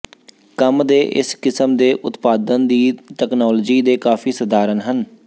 ਕੰਮ ਦੇ ਇਸ ਕਿਸਮ ਦੇ ਉਤਪਾਦਨ ਦੀ ਤਕਨਾਲੋਜੀ ਦੇ ਕਾਫ਼ੀ ਸਧਾਰਨ ਹੈ